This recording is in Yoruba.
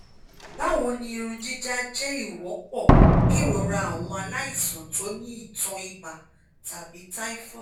bawoni irun jija je iwonpo kerora awon alaisan to ni itan iba tabi typhoid